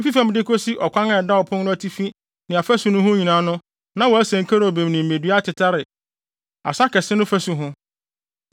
Efi fam de kosi ɔkwan a ɛda ɔpon no atifi ne afasu no ho nyinaa no na wɔasen kerubim ne mmedua atetare asa kɛse no fasu ho.